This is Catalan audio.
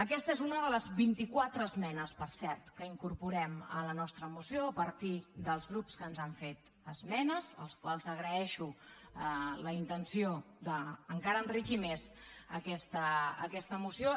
aquesta és una de les vint i quatre esmenes per cert que incorporem a la nostra moció a partir dels grups que ens han fet esmenes als quals agraeixo la intenció d’encara enriquir més aquesta moció